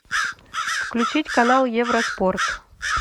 включить канал евроспорт